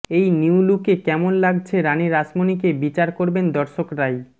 এই নিউ লুকে কেমন লাগছে রানি রাসমণিকে বিচার করবেন দর্শকরাই